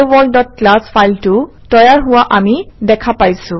helloworldক্লাছ ফাইলটো তৈয়াৰ হোৱা আমি দেখা পাইছোঁ